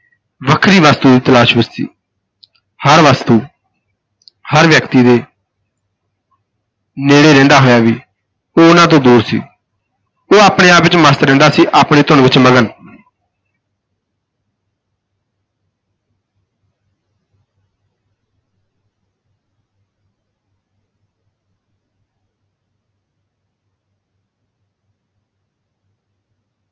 ਵੱਖਰੀ ਵਸਤੂ ਦੀ ਤਲਾਸ਼ ਵਿਚ ਸੀ ਹਰ ਵਸਤੂ ਹਰ ਵਿਅਕਤੀ ਦੇ ਨੇੜੇ ਰਹਿੰਦਾ ਹੋਇਆ ਵੀ ਉਹ ਉਨ੍ਹਾਂ ਤੋਂ ਦੂਰ ਸੀ, ਉਹ ਆਪਣੇ ਆਪ ਵਿਚ ਮਸਤ ਰਹਿੰਦਾ ਸੀ, ਆਪਣੀ ਧੁਨ ਵਿਚ ਮਗਨ।